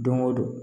Don go don